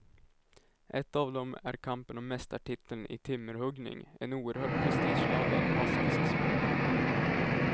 Ett av dem är kampen om mästartiteln i timmerhuggning, en oerhört prestigeladdad baskisk sport.